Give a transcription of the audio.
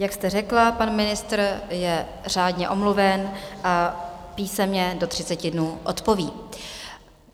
Jak jste řekla, pan ministr je řádně omluven a písemně do 30 dnů odpoví.